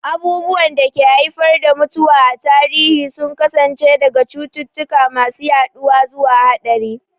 Abubuwan da ke haifar da mutuwa a tarihi sun kasance daga cututtuka masu yaduwa zuwa haɗari.